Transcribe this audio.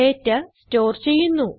data store ചെയ്യുന്നു